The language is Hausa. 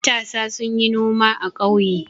Matasa sun yi noma a ƙauye.